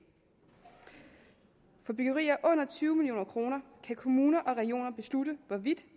for byggerier under tyve million kroner kan kommuner og regioner beslutte hvorvidt